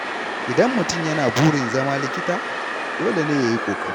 Idan mutum yana da burin zama likita, dole ne ya yi ƙoƙari.